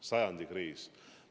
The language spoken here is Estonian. Sajandi kriis!